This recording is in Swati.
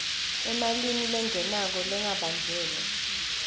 emalini lengenako lengabanjelwa